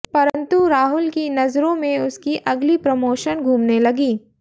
परन्तु राहुल की नजरों में उसकी अगली प्रोमोशन घूमने लगी